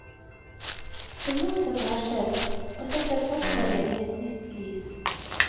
Det motsatte har skjedd, og setter forslaget i et nytt lys.